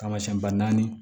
Taamasiyɛn ba naani